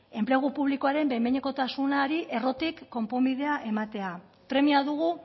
enplegu publikoaren behin behinekotasunari errotik konponbidea ematea premia dugu